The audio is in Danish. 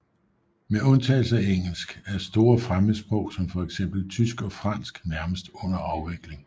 Med undtagelse af engelsk er store fremmedsprog som fx tysk og fransk nærmest under afvikling